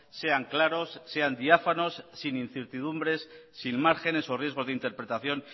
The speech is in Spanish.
sean claros sean diáfanos sin incertidumbres sin márgenes o riesgos de interpretación